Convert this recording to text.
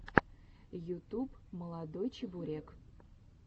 ютуб молодой чебурек